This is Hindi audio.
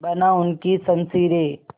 बना उनकी शमशीरें